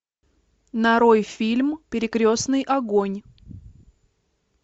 нарой фильм перекрестный огонь